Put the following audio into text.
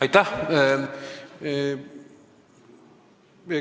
Aitäh!